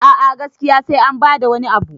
a a gaskiya sai an bada wani Abu